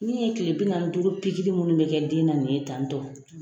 Min ye kile bi naani ni duuru minnu bɛ kɛ den na nin ye tantɔ.